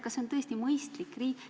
Kas see on tõesti mõistlik?